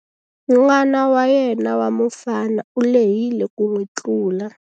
N'wana wa yena wa mufana u lehile ku n'wi tlula.